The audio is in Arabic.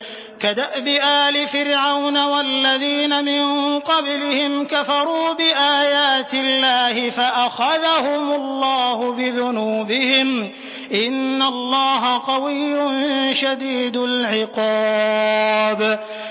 كَدَأْبِ آلِ فِرْعَوْنَ ۙ وَالَّذِينَ مِن قَبْلِهِمْ ۚ كَفَرُوا بِآيَاتِ اللَّهِ فَأَخَذَهُمُ اللَّهُ بِذُنُوبِهِمْ ۗ إِنَّ اللَّهَ قَوِيٌّ شَدِيدُ الْعِقَابِ